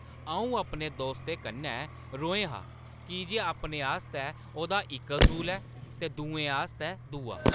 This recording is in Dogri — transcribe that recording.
अऊं अपने दोस्तै कन्नै रोहें हा कीजे अपने आस्तै ओह्दा इक असूल ऐ ते दुए आस्तै दूआ ।